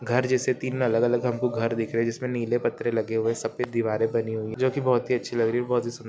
घर जैसे तीन अलग-अलग हमको घर दिख रहे है जिसमे नीले पत्रे लगे हुए है सफ़ेद दीवारे बनी हुई है जो कि बहुत ही अच्छी लग रही है बहुत ही सुंद--